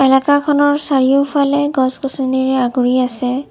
এলেকাখনৰ চাৰিওফালে গছ গছনিৰে আগুৰি আছে।